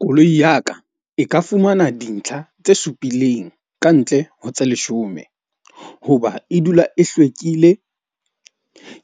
Koloi ya ka e ka fumana dintlha tse supileng kantle ho tse leshome. Hoba e dula e hlwekile.